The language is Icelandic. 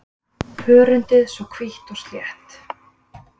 Hörundið svona hvítt og slétt?